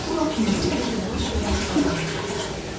Bu vaxt musiqi yavaş-yavaş azalmağa başladı.